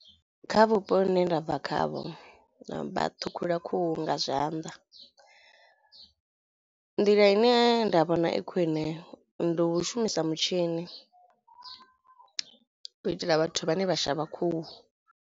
Kha vhupo vhune ndabva khavho vha ṱhukhula khuhu nga zwanḓa. Nḓila ine nda vhona i khwine ndi u shumisa mutshini u itela vhathu vhane vha shavha khuhu.